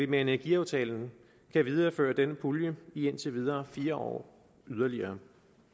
med energiaftalen kan videreføre denne pulje i indtil videre fire år yderligere